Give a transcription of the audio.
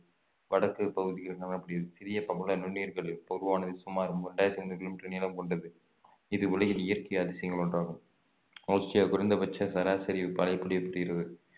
வடக்கு பகுதியில் காணப்படுகிறது சிறிய பவள நுண்ணுயிர்கள் உருவானது சுமார் இரண்டாயிரத்து முண்ணூறு கிலோமீட்டர் நீளம் கொண்டது இது உலகின் இயற்கை அதிசயங்கள் ஒன்றாகும் ஆஸ்திரேலியா குறைந்தபட்ச சராசரி மழைப்பொழிவு தீர்வு